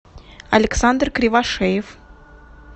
александр кривошеев